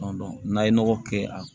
n'a ye nɔgɔ kɛ a